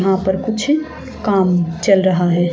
वहां पर कुछ काम चल रहा है।